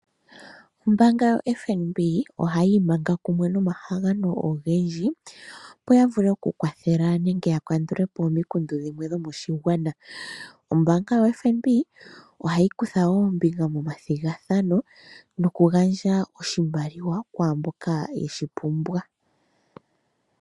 Ombaanga yoFNB ohayi imanga kumwe nomahangano ogendji, opo ya vule oku kwathela nenge yakandula po omikundu dhimwe dhomoshigwana. Ombaanga yoFNB ohayi kutha wo ombinga momathigathano noku gandja oshimaliwa kwaamboka yeshi pumbwa.